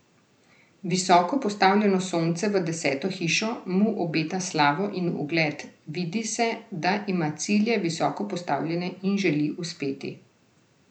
Visoko postavljeno Sonce v deseto hišo mu obeta slavo in ugled, vidi se, da ima cilje visoko postavljene in želi uspeti.